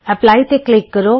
apply ਤੇ click ਕਰੋ